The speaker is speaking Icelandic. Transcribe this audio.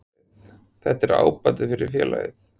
Þetta er ábati fyrir félagið.